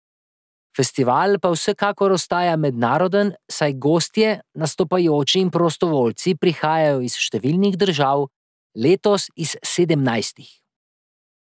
Festival pa vsekakor ostaja mednaroden, saj gostje, nastopajoči in prostovoljci prihajajo iz številnih držav, letos iz sedemnajstih.